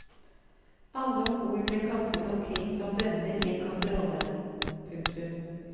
Alle ombord ble kastet omkring som bønner i en kasserolle. punktum